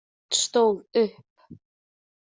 Örn stóð upp.